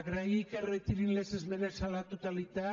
agrair que retirin les esmenes a la totalitat